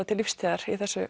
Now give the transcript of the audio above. til lífstíðar í þessu